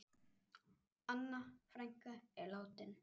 Anna frænka er látin.